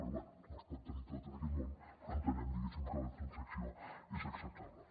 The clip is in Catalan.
però bé no es pot tenir tot en aquest món però entenem diguéssim que la transac·ció és acceptable